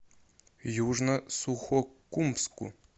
южно сухокумску